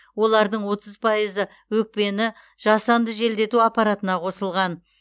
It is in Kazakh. олардың отыз пайызы өкпені жасанды желдету аппаратына қосылған